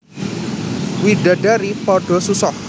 Widadari padha susah